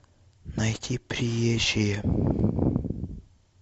найти приезжие